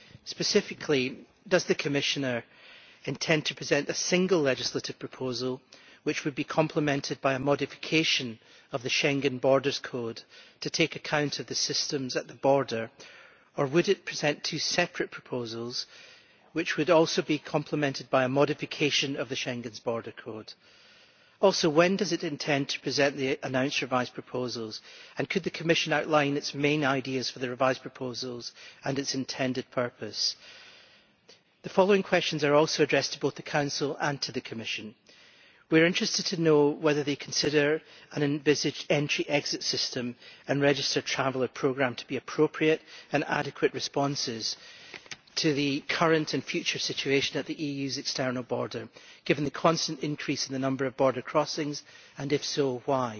Specifically, does the Commissioner intend to present a single legislative proposal which would be complemented by a modification of the Schengen Borders Code to take account of the systems at the border, or would it present two separate proposals which would also be complemented by a modification of the Schengen Borders Code? Also, when does it intend to present the announced revised proposals, and could the Commission outline its main ideas for the revised proposals and its intended purpose? The following questions are also addressed to both the Council and the Commission. We are interested to know whether they consider an envisaged entry exit system and registered traveller programme to be appropriate and adequate responses to the current and future situation at the EU's external border, given the constant increase in the number of border crossings and, if so, why?